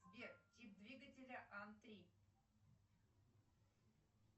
сбер тип двигателя ан три